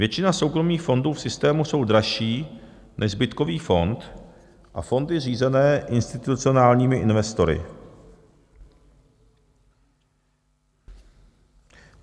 Většina soukromých fondů v systému jsou dražší než zbytkový fond a fondy řízené institucionálními investory.